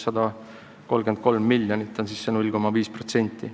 See 0,5% on 133 miljonit eurot.